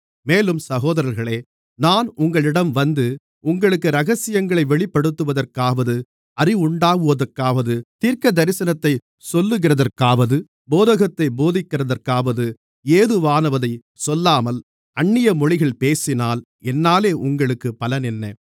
மேலும் சகோதரர்களே நான் உங்களிடம் வந்து உங்களுக்கு இரகசியங்களை வெளிப்படுத்துவதற்காவது அறிவுண்டாக்குவதற்காவது தீர்க்கதரிசனத்தை சொல்லுகிறதற்காவது போதகத்தைப் போதிக்கிறதற்காவது ஏதுவானதைச் சொல்லாமல் அந்நிய மொழிகளில் பேசினால் என்னாலே உங்களுக்கு பலன் என்ன